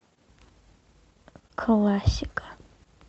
классика